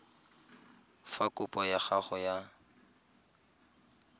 fa kopo ya gago ya